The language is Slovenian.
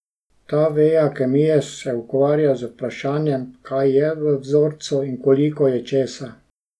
Ta veja kemije se ukvarja z vprašanjem, kaj je v vzorcu in koliko je česa.